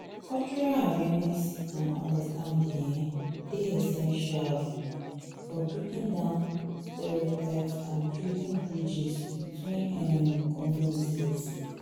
cultural awareness and understanding um dey essential um for breaking down stereotypes and building bridges between um communities.